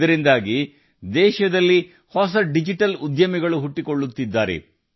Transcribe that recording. ಈ ಕಾರಣದಿಂದ ದೇಶದಲ್ಲಿ ಹೊಸ ಡಿಜಿಟಲ್ ಉದ್ಯಮಿಗಳು ಹೆಚ್ಚುತ್ತಿದ್ದಾರೆ